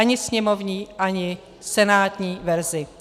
Ani sněmovní, ani senátní verzi.